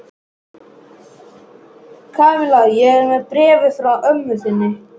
Kamilla, ég er með bréfið frá mömmu þinni.